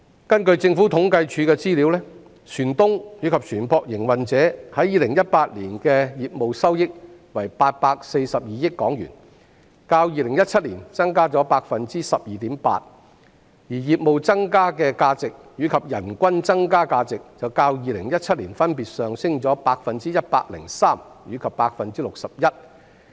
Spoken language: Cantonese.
根據政府統計處的資料，船東及船舶營運者在2018年的業務收益為842億港元，較2017年增加 12.8%， 而業務增加的價值，以及人均增加價值便較2017年分別上升 103% 和 61%。